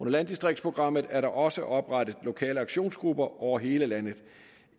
landdistriktsprogrammet er der også oprettet lokale aktionsgrupper over hele landet